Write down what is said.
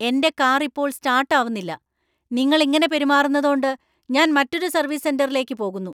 എന്‍റെ കാർ ഇപ്പോൾ സ്റ്റാർട്ട് ആവുന്നില്ല, നിങ്ങൾ ഇങ്ങനെ പെരുമാറുന്നതോണ്ട് ഞാൻ മറ്റൊരു സർവീസ് സെന്‍ററിലേക്ക് പോകുന്നു.